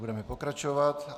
Budeme pokračovat.